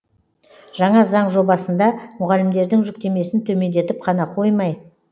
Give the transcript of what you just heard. жаңа заң жобасында мұғалімдердің жүктемесін төмендетіп қана қоймай